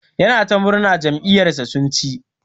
Yana ta murna jam'iyar sa sun chi.